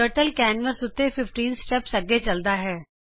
turtle canvas ਉੱਤੇ 15 steps ਅਗੇ ਚਲਦਾ ਹੈ